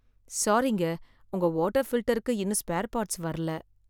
சாரிங்க, உங்க வாட்டர் ஃபில்டருக்கு இன்னும் ஸ்பேர் பார்ட்ஸ் வர்ல